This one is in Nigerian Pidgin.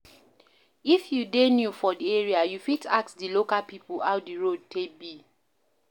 if you dey new for di area, you fit ask di local pipo how di road dey be